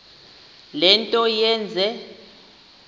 le nto yenze